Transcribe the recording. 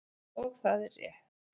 Og það er rétt.